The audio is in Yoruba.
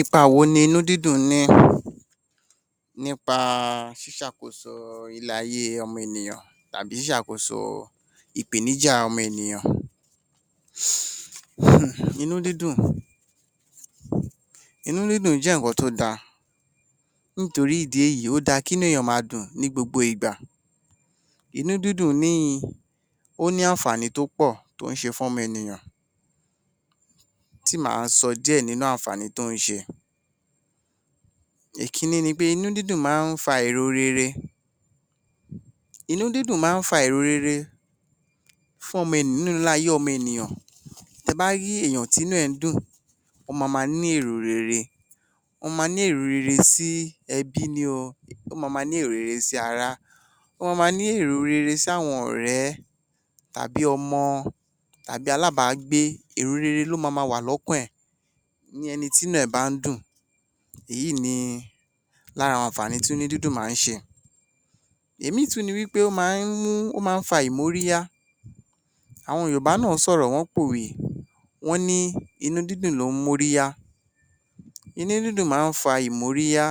Ipa wo ni inú-dídùn ní nípa ṣíṣàkoso ilé-ayé ènìyàn tàbí ṣíṣe àkoso ìpèníjà ọmọ ènìyàn. Inú-dídùn, inú-dídùn jẹ́ ǹnkan tó da, nítorí ìdí èyí ó da kí inú èèyàn ḿa dùn ní gbogbo ìgbà. Inú-dídùn ni ó ní àǹfààní tó pọ̀, tó ń ṣe fún ọmọ ènìyàn. Tí máa sọ díẹ̀ nínú àǹfààní tó ń ṣe, ìkíní ni pé inú-dídùn máa ń fa èrò rere, inú-dídùn máa ń fa èrò rere nínú ayé ọmọ ènìyàn, tí ẹ bá rí èèyàn tí inú rẹ̀ ń dùn, ó ma máa ní èrò rere, ó ma máa ní èrò rere sí ẹbí ni o, ó ma máa ní èrò rere sí ara, ó ma máa ní èrò rere sí àwọn ọ̀rẹ́ tàbí ọmọ tàbí alábágbé, èrò rere ló ma máa wà lọ́kàn rẹ̀, ìyẹn ẹni tí inú ẹ̀ bá ń dùn, èyí ni lára àǹfààní tí inú-dídùn máa ń ṣe. Òmíràn tún ni pé, ó máa ń fa ìmóríyá, àwọn Yorùbá náà sọ̀rọ̀, wọ́n pòwé, wọ́n ní 'Inú-dídùn ló ń móríyá' Inú-dídùn máa ń fa ìmóríya